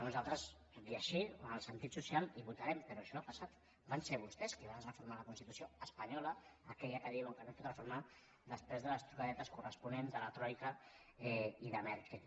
nosaltres tot i així en el sentit social hi votarem però això ha passat van ser vostès qui van reformar la constitució espanyola aquella que diuen que no es pot reformar després de les trucadetes corresponents de la troica i de merkel